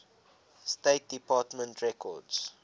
state department records